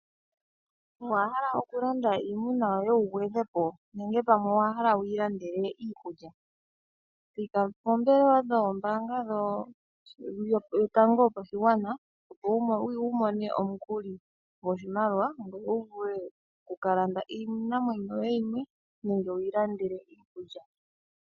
Owa hala okulanda iimuna yoye wu gwedhe po nenge pamwe owa hala wu yi landele iikulya? Thika poombelewa dhombaanga yotango yopashigwana opo wu mone omukuli goshimaliwa ngoye wu vule oku ka landa iinamwenyo yoye yimwe nenge wuyi landele iikulya.